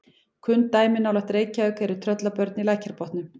Kunn dæmi nálægt Reykjavík eru Tröllabörn í Lækjarbotnum.